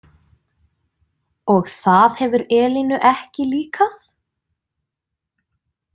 Og það hefur Elínu ekki líkað?